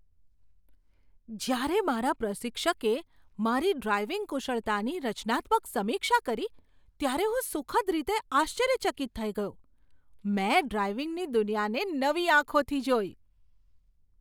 જ્યારે મારા પ્રશિક્ષકે મારી ડ્રાઇવિંગ કુશળતાની રચનાત્મક સમીક્ષા કરી ત્યારે હું સુખદ રીતે આશ્ચર્યચકિત થઈ ગયો. મેં ડ્રાઇવિંગની દુનિયાને નવી આંખોથી જોઈ.